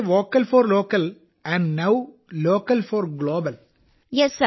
അതിനാൽ ഞാൻ vocal for local എന്നും ഇപ്പോൾ ലോക്കൽ ഫോർ ഗ്ലോബൽ എന്നും പറയുന്ന പോലെ